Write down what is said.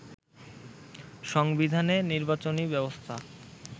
সংবিধানে নির্বাচনী ব্যবস্থা